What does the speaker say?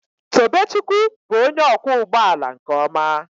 Tobechukwu bụ onye ọkwọ ụgbọ ala nke ọma